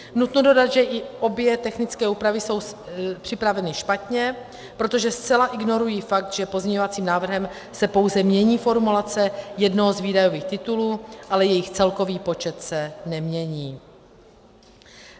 Nutno dodat, že i obě technické úpravy jsou připraveny špatně, protože zcela ignorují fakt, že pozměňovacím návrhem se pouze mění formulace jednoho z výdajových titulů, ale jejich celkový počet se nemění.